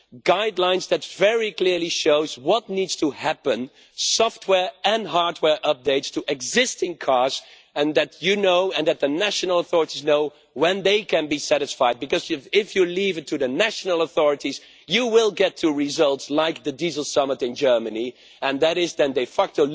Guidelines that very clearly show what needs to happen, software and hardware updates to existing cars, and that you know, and that the national authorities know, when they can be satisfied, because if you leave it to the national authorities, you will get results like the diesel summit in Germany, and that is then de facto